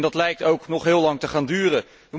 Dat lijkt ook nog heel lang te gaan duren.